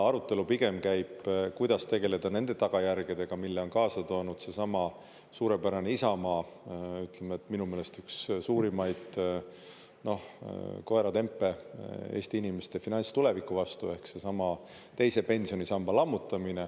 Arutelu pigem käib, kuidas tegeleda nende tagajärgedega, mille on kaasa toonud seesama suurepärane Isamaa minu meelest üks suurimaid koeratempe Eesti inimeste finantstuleviku vastu ehk seesama teise pensionisamba lammutamine.